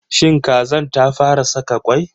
Shin kazar ta fa ra saka kwai?